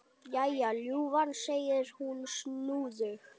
Jæja, ljúfan, segir hún snúðug.